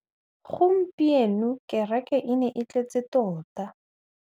Gompieno kêrêkê e ne e tletse tota.